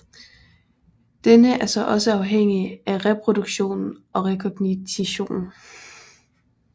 Denne er så også afhængig af reproduktionen og rekognitionen